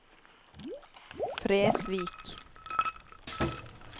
Fresvik